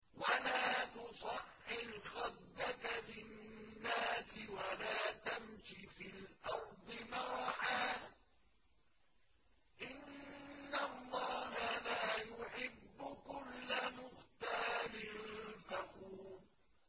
وَلَا تُصَعِّرْ خَدَّكَ لِلنَّاسِ وَلَا تَمْشِ فِي الْأَرْضِ مَرَحًا ۖ إِنَّ اللَّهَ لَا يُحِبُّ كُلَّ مُخْتَالٍ فَخُورٍ